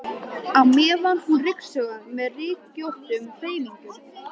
á meðan hún ryksugaði með rykkjóttum hreyfingum.